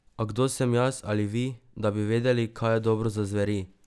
A kdo sem jaz ali vi, da bi vedeli, kaj je dobro za zveri?